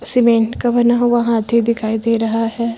Cement का बना हुआ हाथी दिखाई दे रहा है।